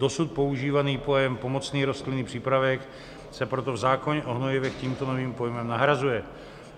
Dosud používaný pojem pomocný rostlinný přípravek se proto v zákoně o hnojivech tímto novým pojmem nahrazuje.